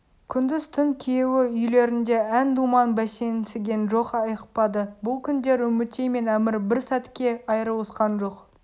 күндіз-түн күйеуі үйлерінде ән-думан бәсеңсіген жоқ айықпады бұл күндер үмітей мен әмір бір сәтке айрылысқан жоқ